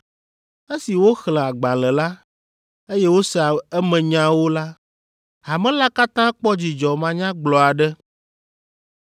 Esi woxlẽ agbalẽ la, eye wose emenyawo la, hame la katã kpɔ dzidzɔ manyagblɔ aɖe.